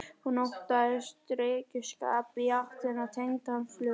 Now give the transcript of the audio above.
Hún óttaðist drykkjuskap í ættinni og tengdi hann flugi.